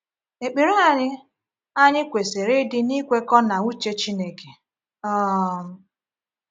Ekpere anyị anyị kwesịrị ịdị n’ikwekọ na uche Chineke. um